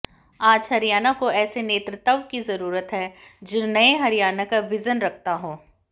आज हरियाणा को ऐसे नेतृत्व की जरूरत है जो नए हरियाणा का विजन रखता हो